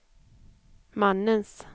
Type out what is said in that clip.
mannens